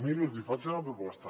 mirin els hi faig una proposta